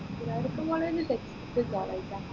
Guruvayurappan college ൽ best college ആ